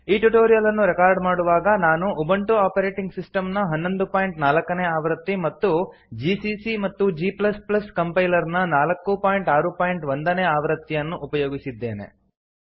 ಈ ಟ್ಯುಟೋರಿಯಲ್ ಅನ್ನು ರೆಕಾರ್ಡ್ ಮಾಡುವಾಗ ನಾನು ಉಬುಂಟು ಆಪರೇಟಿಂಗ್ ಸಿಸ್ಟಮ್ ನ 1104 ನೇ ಆವೃತ್ತಿ ಮತ್ತು ಜಿಸಿಸಿ ಮತ್ತು g ಕಂಪೈಲರ್ ನ 461 ನೇ ಆವೃತ್ತಿಯನ್ನು ಉಪಯೋಗಿಸಿದ್ದೇನೆ